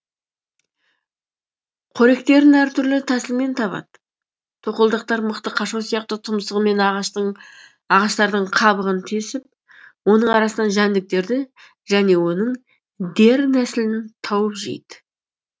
қоректерін әр түрлі тәсілмен табады тоқылдақтар мықты қашау сияқты түмсығымен ағаштардың қабығын тесіп оның арасынан жәндіктерді және оның дернәсілін тауып жейді